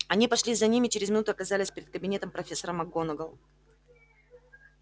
они пошли за ним и через минуту оказались перед кабинетом профессора макгонагалл